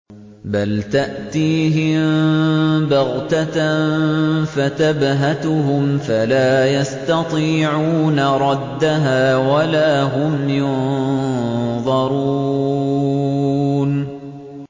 بَلْ تَأْتِيهِم بَغْتَةً فَتَبْهَتُهُمْ فَلَا يَسْتَطِيعُونَ رَدَّهَا وَلَا هُمْ يُنظَرُونَ